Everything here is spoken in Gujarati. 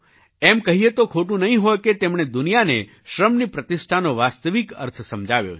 એમ કહીએ તો ખોટું નહીં હોય કે તેમણે દુનિયાને શ્રમની પ્રતિષ્ઠાનો વાસ્તવિક અર્થ સમજાવ્યો છે